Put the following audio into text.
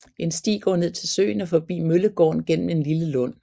En sti går ned til søen og forbi Møllegården gennem en lille lund